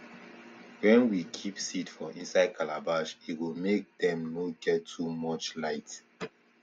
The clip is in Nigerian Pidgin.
wen we keep seed for inside calabash e go make dem nor get too much light